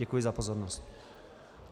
Děkuji za pozornost.